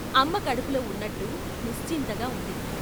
అమ్మ కడుపులో ఉన్నట్టు నిశ్చింతగా ఉంది.